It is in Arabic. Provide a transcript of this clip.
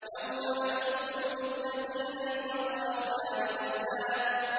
يَوْمَ نَحْشُرُ الْمُتَّقِينَ إِلَى الرَّحْمَٰنِ وَفْدًا